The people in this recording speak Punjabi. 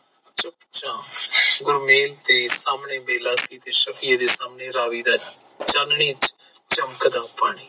ਚੁੱਪ ਚਾਪ ਗੁਰਮੇਲ ਤੇ ਸਾਹਮਣੇ ਬੇਲਾ ਸੀ ਤੇ ਸ਼ਾਹਫੀ ਦੇ ਸਾਹਮਣੇ ਰਾਵੀ ਦਾ ਚਾਨਣੀ ਚਮਕ ਦਾ ਪਾਣੀ